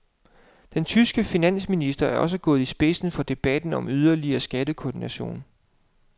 Den tyske finansminister er også gået i spidsen for debatten om yderligere skattekoordination.